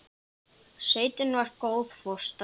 Sveitin var góð fóstra.